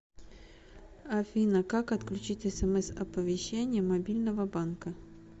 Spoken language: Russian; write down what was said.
афина как отключить смс оповещение мобильного банка